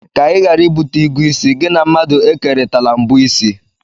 Ka Ị ghara ibute igu ịsị, gị na mmadụ ekerịtala mbọ ịsị.